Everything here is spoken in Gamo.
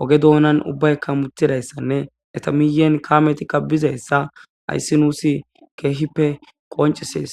ogge dunan ubbaka hammetizayssane eeta miyeen kaametika biizayssa hayssi nus kehippe qonccises.